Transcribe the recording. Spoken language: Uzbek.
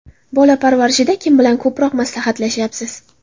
Bola parvarishida kim bilan ko‘proq maslahatlashyapsiz?